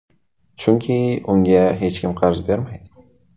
Chunki unga hech kim qarz bermaydi.